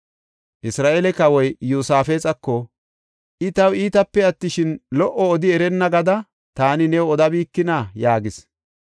Isra7eele kawoy Iyosaafexako, “I taw iitape attishin, lo77o odi erenna gada taani new odabikina?” yaagis.